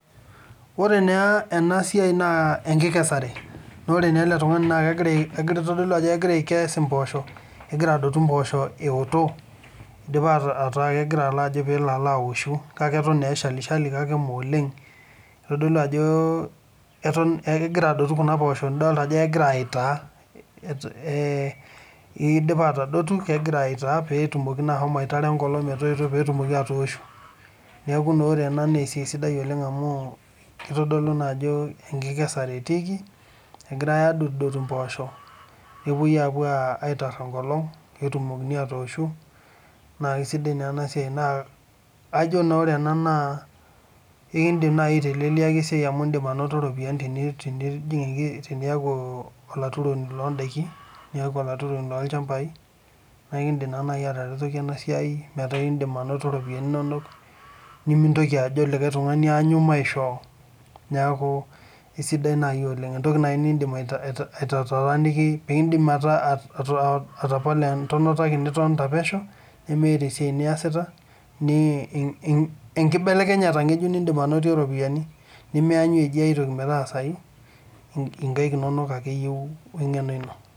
Ore naa ena siai naa enkikesare naa ore naa ele tunngani naa kitoolu ajo kegira aikes imposho ,kegira adotu impoosho ewoito, idipa ataa kegira ajo pelo alo aoshu kake eton naa eshali shali kake mmee oleng . Kitodolu ajo kegira adotu kuna poosho , nidol ajo kegira aitaa ee idipa atadotu , kegira aitaa petumoki naa ashomo aitara enkolong metoito peetumoki atooshu. Niaku ore ena naa esiai sidai oleng amu kitodolu naa ajo ore enkikesare etiiki egirae adotudotu impoosho nepuoi apu aitaar enkolong netumokini atooshu naa kisidai naa ena siai, naa ajo naa ore ena naa ekindim naa aiteleliaki esiai amu itum iropiyiani teniaku olaturoni loo ndaiki , niaku olaturoni loo nychambai naa enkindim naa nai ataretoki ena siai metaa indim anoto iropiyiani inonok nimintoki ajo likae tungani aanyu pekitum aisho. Niaku isidai nai oleng , entoki nai nindim aitotooniki , nindim atapala entonata ake nitonita pesho nimiata esiata niasita, enkibelekenyata ngejuk oropiyiani nimianyua eji ai toki metaasayu , nkaik inonok ake eyieu we engeno ino.